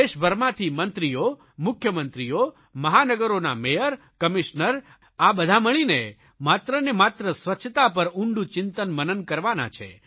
દેશભરમાંથી મંત્રીઓ મુખ્યમંત્રીઓ મહાનગરોના મેયર કમિશ્નર આ બધા મળીને માત્રને માત્ર સ્વચ્છતા પર ઊંડું ચિંતનમનન કરવાના છે